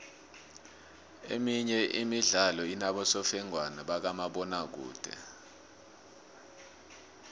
emenye imidlalo inobosofengwana bakamabona kude